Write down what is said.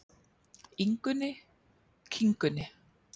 Ingunni, Kingunni,